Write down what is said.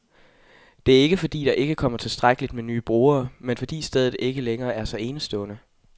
Det er ikke, fordi der ikke kommer tilstrækkeligt med nye brugere, men fordi stedet ikke længere er så enestående.